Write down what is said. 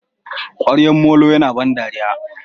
kwaryan molon Yana da ban dariya.